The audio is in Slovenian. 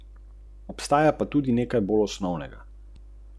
In zgodi se ti tisto, kar verjameš.